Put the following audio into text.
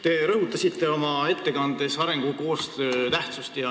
Te rõhutasite oma ettekandes arengukoostöö tähtsust.